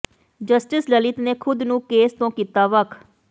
justice Lalit ਨੇ ਖੁਦ ਨੂੰ ਕੇਸ ਤੋਂ ਕੀਤਾ ਵੱਖ